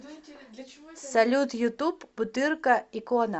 салют ютуб бутырка икона